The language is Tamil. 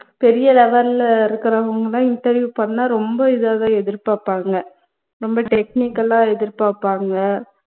பெரிய level ல இருக்குறவங்கலாம் interview பண்ணா ரொம்ப இதாதான் எதிர்பாப்பாங்க ரொம்ப technical ஆ எதிர்பாப்பாங்க